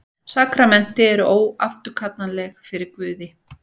Sakramenti eru óafturkallanleg fyrir Guði.